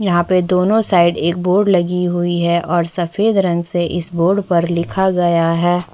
यहाँ पर दोनों साइड एक बोर्ड लगी हुई है और सफेद रंग से इस बोर्ड पर लिखा गया है।